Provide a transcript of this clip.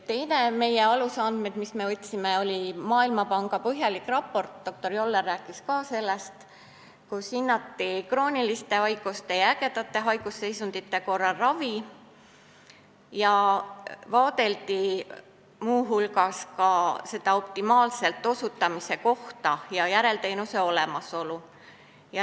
Teiseks võtsime alusandmed Maailmapanga põhjalikust raportist – ka doktor Joller rääkis sellest –, kus hinnati ravi krooniliste haiguste ja ägedate haigusseisundite korral ning vaadeldi muu hulgas optimaalset teenuseosutamise kohta ja järelteenuse olemasolu.